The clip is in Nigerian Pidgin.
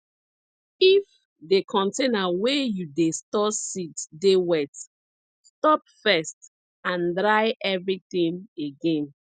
if the container wey you dey store seeds dey wet stop first and dry everything again